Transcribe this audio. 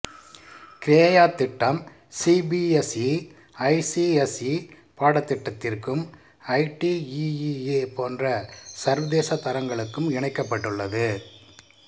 கிரேயா திட்டம் CBSE ICSE பாடத்திட்டத்திற்கும் ITEEA போன்ற சர்வதேச தரங்களுக்கும் இணைக்கப்பட்டுள்ளது